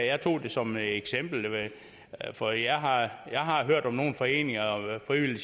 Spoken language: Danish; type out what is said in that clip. jeg tog det som et eksempel for jeg har jeg har hørt om nogle foreninger og frivillige